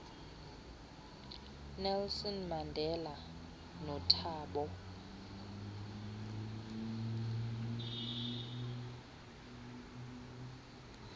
nelson mandela nothabo